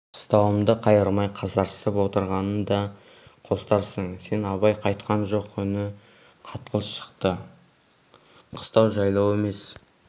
қыстауымды қайырмай қасарысып отырғанын да қостарсың сен абай қайтқан жоқ үні қатқыл шықты қыстау жайлау емес